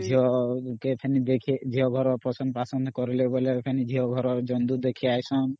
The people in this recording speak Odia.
ଝିଅ କେ ଅମ୍ ଫେନି ଦେଖି ଝିଅ ଘର ଦେଖି ପସନ୍ଦ ପାସନ୍ଦ କରିଲେ ବେଲି ଫେନି ଝିଅ ଘର ଯଂଡୁ ଦେଖି ଆଇସନ